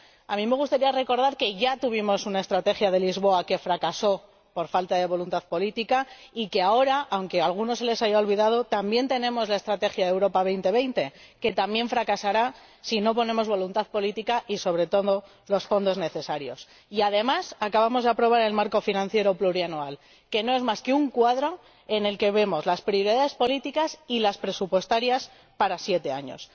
A mí me gustaría recordar que ya tuvimos una Estrategia de Lisboa que fracasó por falta de voluntad política y que, ahora, aunque a algunos se les haya olvidado, también tenemos la Estrategia Europa 2020, que también fracasará si no ponemos voluntad política y, sobre todo, los fondos necesarios. Y, además, acabamos de aprobar el marco financiero plurianual, que no es más que un cuadro en el que vemos las prioridades políticas y presupuestarias para siete años.